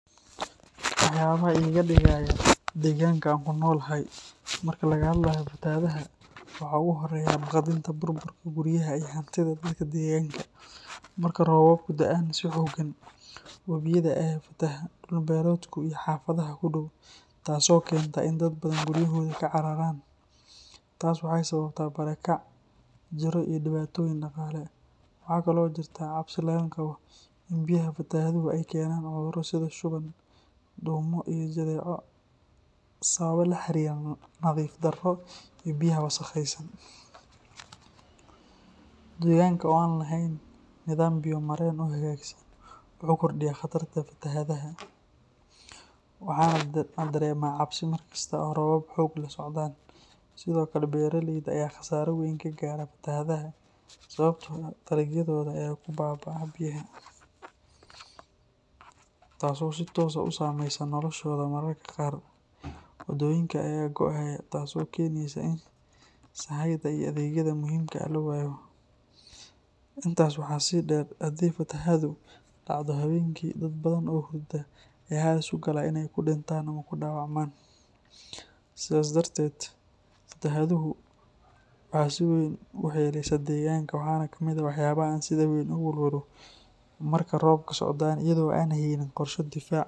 Waxyaabaha iga digaya deegaanka aan ku noolahay marka laga hadlayo fatahaadaha waxaa ugu horeeya baqdinta burburka guryaha iyo hantida dadka deegaanka. Marka roobabku da’aan si xooggan, wabiyada ayaa ku fataha dhul-beereedka iyo xaafadaha ku dhow, taas oo keenta in dad badan guryahooda ka cararaan. Taasi waxay sababtaa barakac, jirro iyo dhibaatooyin dhaqaale. Waxa kale oo jirta cabsi laga qabo in biyaha fatahaadu ay keenaan cudurro sida shuban, duumo iyo jadeeco sababo la xiriira nadiif-darro iyo biyaha wasakhaysan. Deegaanka oo aan lahayn nidaam biyo-mareen oo hagaagsan wuxuu kordhiyaa khatarta fatahaadda, waxaana dareemaa cabsi mar kasta oo roobab xoog leh socdaan. Sidoo kale, beeraleyda ayaa khasaaro weyn ka gaara fatahaadaha sababtoo ah dalagyadooda ayaa ku baaba’a biyaha, taasoo si toos ah u saameyneysa noloshooda. Mararka qaar, waddooyinka ayaa go’aya, taasoo keeneysa in sahayda iyo adeegyada muhiimka ah la waayo. Intaas waxaa sii dheer, haddii fatahaaddu dhacdo habeenkii, dad badan oo hurda ayaa halis u galaa inay ku dhintaan ama ku dhaawacmaan. Sidaas darteed, fatahaaddu waxay si weyn u waxyeeleysaa deegaanka, waxaana ka mid ah waxyaabaha aan sida weyn uga walwalo marka roobabku socdaan iyadoo aan la haynin qorshe difaac.